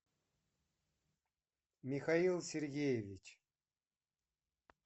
михаил сергеевич